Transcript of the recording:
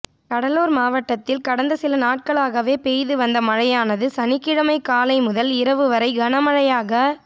கடலூா் மாவட்டத்தில் கடந்த சில நாட்களாகவே பெய்து வந்த மழையானது சனிக்கிழமை காலை முதல் இரவு வரையில் கனமழையாக